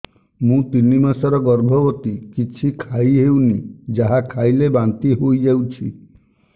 ମୁଁ ତିନି ମାସର ଗର୍ଭବତୀ କିଛି ଖାଇ ହେଉନି ଯାହା ଖାଇଲେ ବାନ୍ତି ହୋଇଯାଉଛି